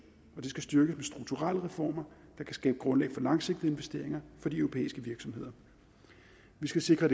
og det skal styrkes med strukturelle reformer der kan skabe grundlag for langsigtede investeringer for de europæiske virksomheder vi skal sikre